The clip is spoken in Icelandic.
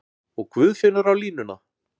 Og Guðfinnur á línuna!